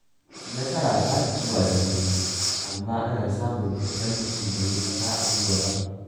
Nasara ba ta zuwa da sauri, amma ana samunta idan mutum bai yi ƙasa a gwiwa ba.